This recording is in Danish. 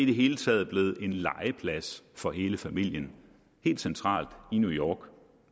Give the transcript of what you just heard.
det hele taget blev en legeplads for hele familien helt centralt i new york